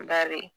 Bari